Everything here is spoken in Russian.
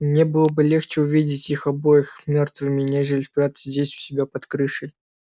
и мне было бы легче увидеть их обоих мёртвыми нежели спрятавшимися здесь у себя под крышей